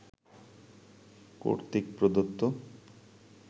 কর্তৃক প্রদত্ত